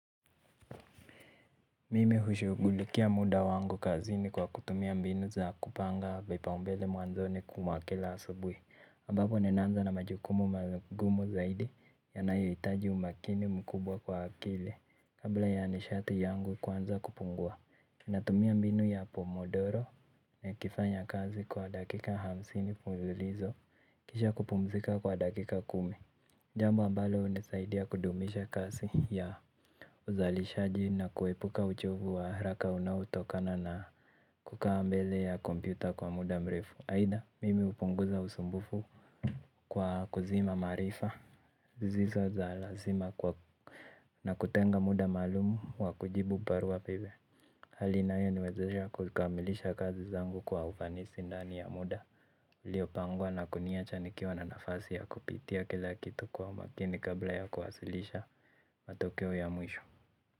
Mimi hushugulikia muda wangu kazini kwa kutumia mbinu za kupanga vipao mbele mwanzoni kwa kila asubuhi ambapo ninaanza na majukumu magumu zaidi ya nayo hitaji umakini mkubwa kwa akili. Kabla ya nishati yangu kuanza kupungua natumia mbinu ya pomodoro nikifanya kazi kwa dakika hamsini fululizo. Kisha kupumzika kwa dakika kumi. Jambk ambalo hunisaidia kudumisha kasi ya uzalishaji na kuepuka uchovu wa haraka unaotokana na kukaa mbele ya kompyuta kwa muda mrefu. Haidha, mimi hupunguza usumbufu kwa kuzima maarifa. Zizo za lazima na kutenga muda maalumu wa kujibu barua pepe. Halina inayo niwezesha kukamilisha kazi zangu kwa ufanisi ndani ya muda. Lio pangwa na kuniacha nikiwa na nafasi ya kupitia kila kitu kwa makini kabla ya kuhasilisha matokeo ya mwisho.